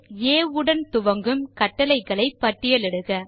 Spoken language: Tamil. ஆ உடன் துவங்கும் கட்டளைகளை பட்டியலிடுக